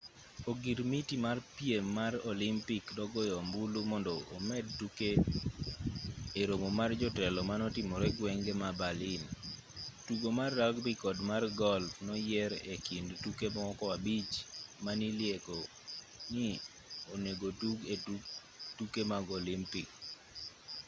ogirmiti mar piem mar olimpik nogoyo ombulu mondo omed tuke e romo mar jotelo manotimre gwenge ma berlin ttugo mar rugby kod mar golf noyier e kind tuke moko abich manilieko ni onegotug e tuke mag olimpik